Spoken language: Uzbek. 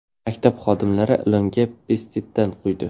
Maktab xodimlari ilonga pestitsid quydi.